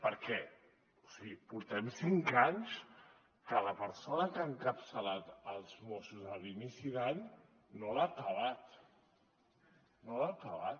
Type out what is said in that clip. per què o sigui portem cinc anys que la persona que ha encapçalat els mossos a l’inici d’any no l’ha acabat no l’ha acabat